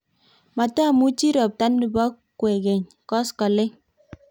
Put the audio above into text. matamuchi robta nibo kwekeny koskoleny